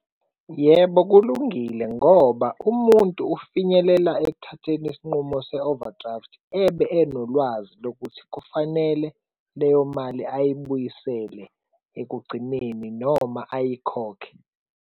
Yebo, kulungile ngoba umuntu ufinyelela ekuthatheni isinqumo se-overdraft, ebe enolwazi lokuthi kufanele leyo mali ayibuyisele ekugcineni noma ayikhokhe.